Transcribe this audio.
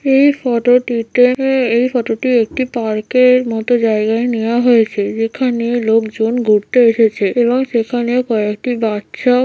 এই ফটোটিতে এ এই ফটোটি একটি পার্কের মত জায়গায় নেয়া হয়েছে | যেখানে লোকজন ঘুরতে এসেছে এবং সেখানে কয়েকটি বাচ্চা--